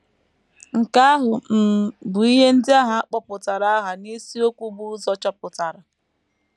Nke ahụ um bụ ihe ndị ahụ a kpọtụrụ aha n’isiokwu bu ụzọ chọpụtara.